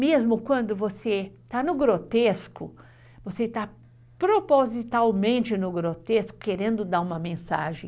Mesmo quando você está no grotesco, você está propositalmente no grotesco, querendo dar uma mensagem.